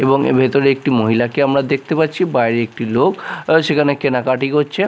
এবং এর ভেতরে একটি মহিলাকে আমরা দেখতে পাচ্ছি বাইরে একটি লোক সেখানে কেনাকাটি করছে।